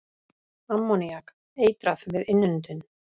Ammoníak- Eitrað við innöndun.